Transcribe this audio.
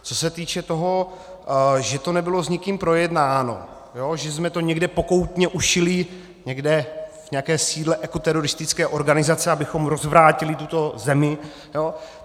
Co se týče toho, že to nebylo s nikým projednáno, že jsme to někde pokoutně ušili, někde v nějakém sídle ekoteroristické organizace, abychom rozvrátili tuto zemi.